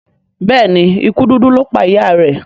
Béèni ikú dúdú lọ pá ìyá rẹ.